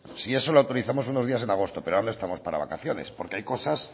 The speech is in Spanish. si eso le autorizamos unos días en agosto pero aún no estamos para vacaciones porque hay cosas